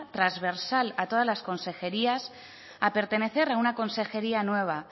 trasversal a todas las consejerías a pertenecer a una consejería nueva